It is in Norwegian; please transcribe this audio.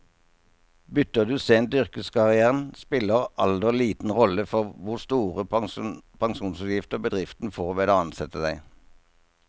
Bytter du sent i yrkeskarrieren, spiller alder liten rolle for hvor store pensjonsutgifter bedriften får ved å ansette deg.